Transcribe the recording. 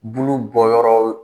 Bulu bɔ yɔrɔw